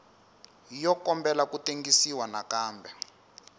yo kombela ku tengisiwa nakambe